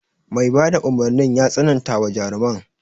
Mai bada umarnin ya tsanantawa jaruman.